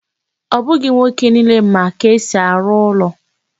Ọ bụghị nwoke niile ma ka esi arụ ụlọ